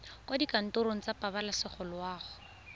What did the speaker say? kwa dikantorong tsa pabalesego loago